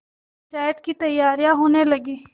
पंचायत की तैयारियाँ होने लगीं